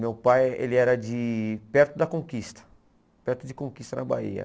Meu pai ele era perto da Conquista, perto de Conquista, na Bahia.